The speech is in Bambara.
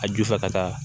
A ju fɛ ka taa